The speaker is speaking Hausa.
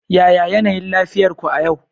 yaya yanayin lafiyar ku a yau